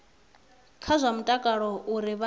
kha zwa mutakalo uri vha